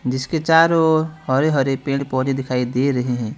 जिसके चारों ओर हरे हरे पेड़ पौधे दिखाई दे रहे हैं।